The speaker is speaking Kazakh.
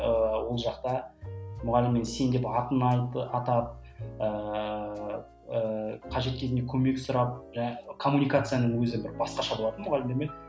ыыы ол жақта мұғаліммен сен деп атын атап ыыы қажет кезінде көмек сұрап жаңа коммуникацияның өзі бір басқаша болатын мұғалімдермен